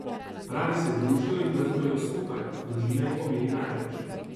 Radi se družijo in praznujejo skupaj, družina jim pomeni največ.